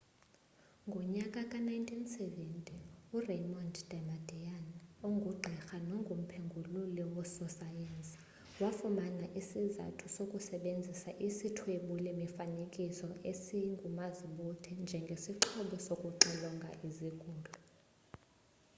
ngonyaka ka-1970 uraymond damadian ongugqirha nomphengululi wososayensi wafumana isizathu sokusebezisa isithwebuli mifanekiso esingumazibuthe njengesixhobo sokuxilonga isigulo